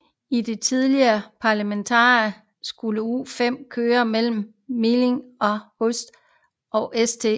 I det tidlige planmateriale skulle U5 køre mellem Meidling Hauptstraße og St